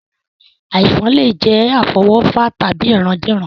Àìsàn lè jẹ́ àfọwọ́fà tàbí ìrandíran